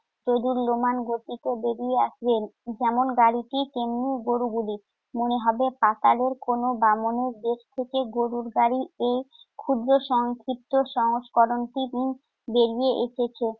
দোদ্যুলমান গতিতে বেরিয়ে আসবে। যেমন গাড়িটি তেমন গরুগুলি। মনে হবে পাতালের কোন বামনের দেশ থেকে গরুর গাড়ির এই ক্ষুদ্র সংক্ষিপ্ত সংস্করণটি বেরিয়ে এসেছে।